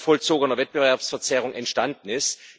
vollzogener Wettbewerbsverzerrung entstanden ist.